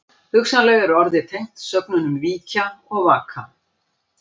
Hugsanlega er orðið tengt sögnunum víkja og vaka.